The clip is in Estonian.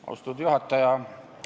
Austatud juhataja!